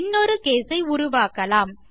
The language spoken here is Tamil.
இன்னொரு கேஸ் ஐ உருவாக்கலாம்